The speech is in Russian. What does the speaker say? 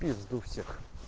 жду всех